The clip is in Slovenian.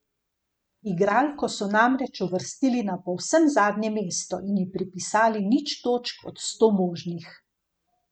Igralko so namreč uvrstili na povsem zadnje mesto in ji pripisali nič točk od sto možnih.